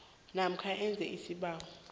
namkha enze isibawo